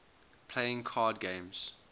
playing card games